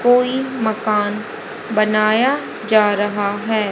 कोई मकान बनाया जा रहा है।